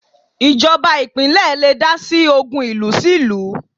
Ìjọba ìpínlẹ̀ le dásí ogun ìlú sí ìlú